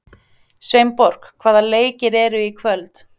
Sveinborg, hvaða leikir eru í kvöld?